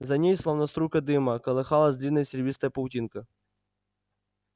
за ней словно струйка дыма колыхалась длинная серебристая паутинка